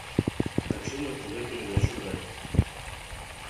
хочу на тв передачу драйв